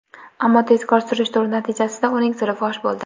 Ammo tezkor surishtiruv natijasida uning siri fosh bo‘ldi.